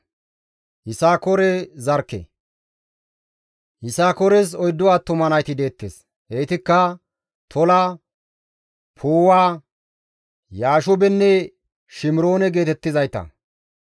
Yisakoores oyddu attuma nayti deettes; heytikka Tola, Puuwa, Yaashubenne Shimiroone geetettizayta.